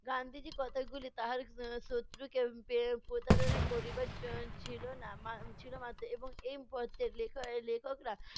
গান্ধিজীর কথাগুলি তাহার এর শত্রুকে পে~ প্রতারণা করিবার য ছিলনা এর ছিলো মাত্র এবং এই পত্রের লেখক~ লেখকরা